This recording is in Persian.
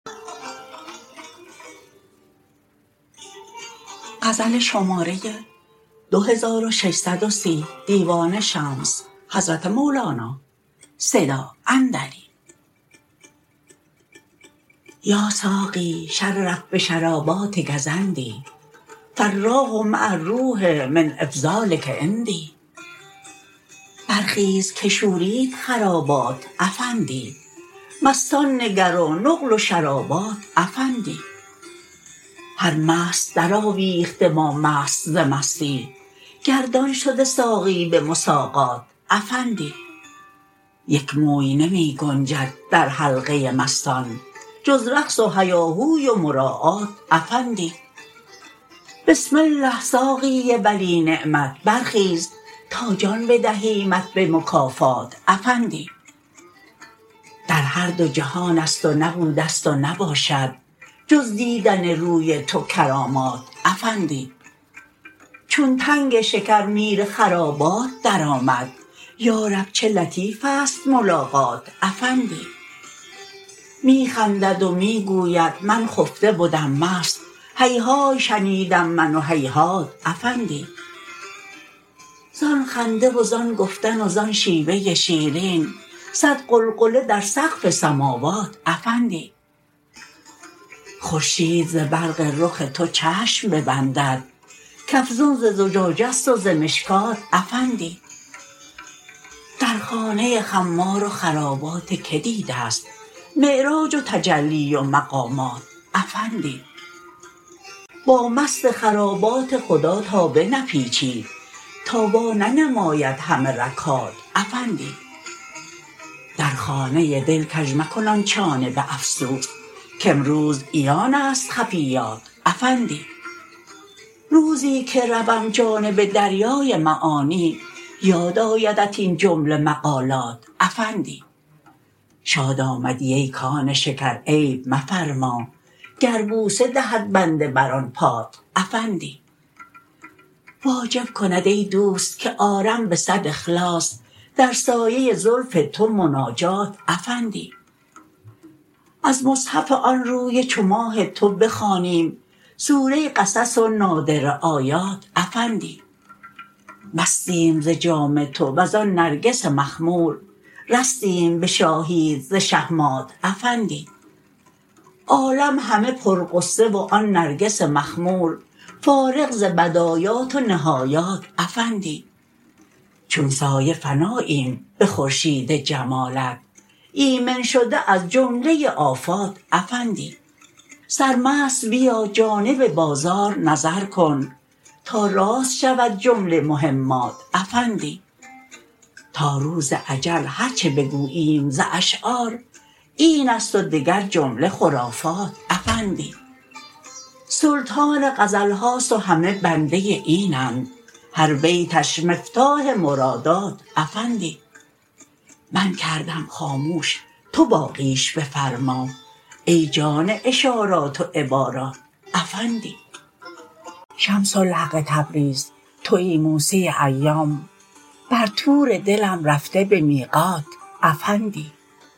یا ساقی شرف بشراباتک زندی فالراح مع الروح من افضالک عندی برخیز که شورید خرابات افندی مستان نگر و نقل و شرابات افندی هر مست درآویخته با مست ز مستی گردان شده ساقی به مساقات افندی یک موی نمی گنجد در حلقه مستان جز رقص و هیاهوی و مراعات افندی بسم الله ساقی ولی نعمت برخیز تا جان بدهیمت به مکافات افندی در هر دو جهان است و نبوده ست و نباشد جز دیدن روی تو کرامات افندی چون تنگ شکر میر خرابات درآمد یا رب چه لطیف است ملاقات افندی می خندد و می گوید من خفته بدم مست هیهای شنیدم من و هیهات افندی زان خنده و زان گفتن و زان شیوه شیرین صد غلغله در سقف سماوات افندی خورشید ز برق رخ تو چشم ببندد کافزون ز زجاجه ست و ز مشکات افندی در خانه خمار و خرابات کی دیده ست معراج و تجلی و مقامات افندی با مست خرابات خدا تا بنپیچی تا وا ننماید همه رگ هات افندی در خانه دل کژ مکن آن چانه به افسوس کامروز عیان است خفیات افندی روزی که روم جانب دریای معانی یاد آیدت این جمله مقالات افندی شاد آمدی ای کان شکر عیب مفرما گر بوسه دهد بنده بر آن پات افندی واجب کند ای دوست که آرم به صد اخلاص در سایه زلف تو مناجات افندی از مصحف آن روی چو ماه تو بخوانیم سوره قصص و نادره آیات افندی مستیم ز جام تو و زان نرگس مخمور رستیم به شاهیت ز شهمات افندی عالم همه پرغصه و آن نرگس مخمور فارغ ز بدایات و نهایات افندی چون سایه فناییم به خورشید جمالت ایمن شده از جمله آفات افندی سرمست بیا جانب بازار نظر کن تا راست شود جمله مهمات افندی تا روز اجل هر چه بگوییم ز اشعار این است و دگر جمله خرافات افندی سلطان غزل هاست و همه بنده اینند هر بیتش مفتاح مرادات افندی من کردم خاموش تو باقیش بفرما ای جان اشارات و عبارات افندی شمس الحق تبریز توی موسی ایام بر طور دلم رفته به میقات افندی